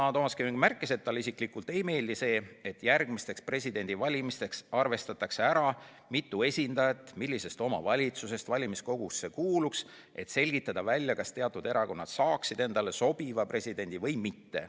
Toomas Kivimägi märkis sedagi, et talle isiklikult ei meeldi see, et järgmisteks presidendivalimisteks arvestataks välja, mitu esindajat millisest omavalitsusest valimiskogusse kuuluks, et selgitada välja, kas teatud erakonnad saaksid endale sobiva presidendi või mitte.